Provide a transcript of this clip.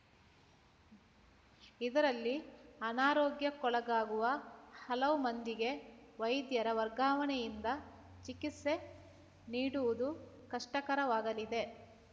ಇದರಲ್ಲಿ ಅನಾರೋಗ್ಯಕ್ಕೊಳಗಾಗುವ ಹಲವು ಮಂದಿಗೆ ವೈದ್ಯರ ವರ್ಗಾವಣೆಯಿಂದ ಚಿಕಿತ್ಸೆ ನೀಡುವುದು ಕಷ್ಟಕರವಾಗಲಿದೆ